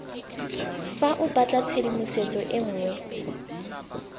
fa o batlatshedimosetso e nngwe